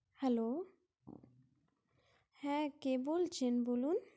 Hello হ্যাঁ কে বলছেন বলুন?